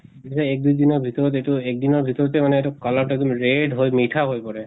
তেতিয়া এক দুই দিনৰ ভিতৰত এইটো এক দিনৰ ভিতৰতে মানে এইটো color টো এক্দম red হৈ মিঠা হৈ পৰে।